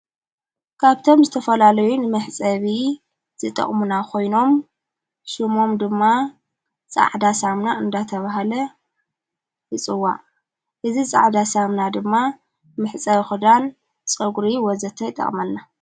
ካብቶም ዝተፈላለዩን ምሕጸቢ ዝጠቕሙና ኾይኖም ሹሞም ድማ ፃዕዳሳምና እንዳተብሃለ ይፅዋ እዝ ፃዕዳሳምና ድማ ምሕፀፃ ኽዳን ጸጕሪ ወዘተኣይጠቕመልና።